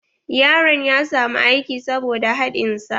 Yaron ya samu aiki saboda haɗin sa.